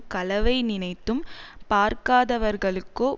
களவை நினைத்தும் பார்க்காதவர்களுக்கோ